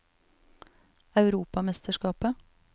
europamesterskapet